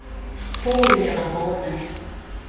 foo re ne ra bona